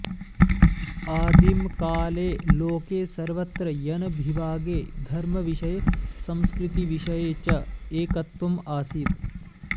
आदिमकाले लोके सर्वत्र जनविभागे धर्मविषये संस्कृतिविषये च एकत्वम् आसीत्